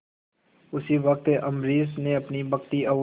उसी वक्त अम्बरीश ने अपनी भक्ति और